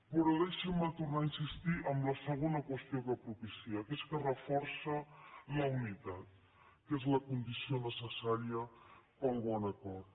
però deixin me tornar a insistir en la segona qüestió que ha propiciat que és que reforça la unitat que és la condició necessària per al bon acord